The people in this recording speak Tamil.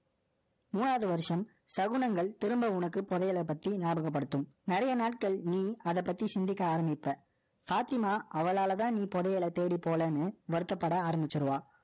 மூணாவது வருஷம், சகுனங்கள் திரும்ப உனக்கு புதையலை பத்தி ஞாபகப்படுத்தும். நிறைய நாட்கள் நீ அதை பத்தி சிந்திக்க ஆரம்பிப்ப. பாத்திமா, அவளாலதான் நீ புதையலை தேடி போகலைன்னு வருத்தப்பட ஆரம்பிச்சிருவா